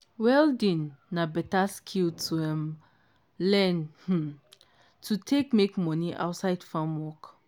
welding na better skill to um learn um to take make money outside farm work.